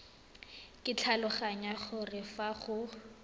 ke tlhaloganya gore fa go